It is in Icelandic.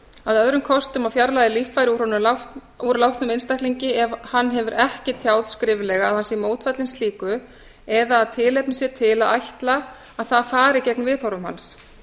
að öðrum kosti má fjarlægja líffæri úr látnum einstaklingi ef hann hefur ekki tjáð skriflega að hann sé mótfallinn slíku eða að tilefni sé til að ætla að það fari gegn viðhorfum hans